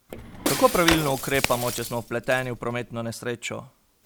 Kako pravilno ukrepamo, če smo vpleteni v prometno nesrečo?